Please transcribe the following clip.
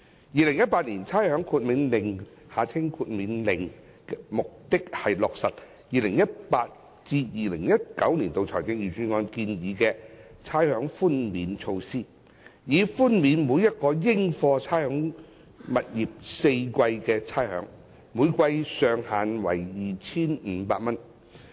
《2018年差餉令》的目的是落實 2018-2019 年度財政預算案建議的差餉寬免措施，以寬免每個應課差餉物業4個季度的差餉，每季上限為 2,500 元。